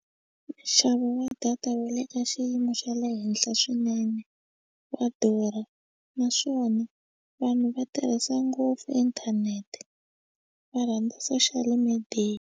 Nxavo wa data wu le ka xiyimo xa le henhla swinene wa durha naswona vanhu va tirhisa ngopfu inthanete va rhandza social media.